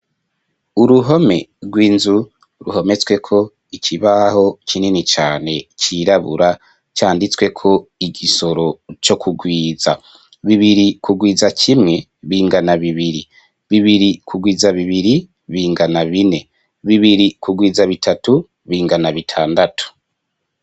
Uruhome rw'inzu ruhometsweko ikibaho kinini cane cirabura canditsweko igisoro co kugwiza, bibiri kugwiza kimwe bingana bibiri, bibiri kugwiza bibiri bingana bine, bibiri kugwiza bitatu bingana bitandatu.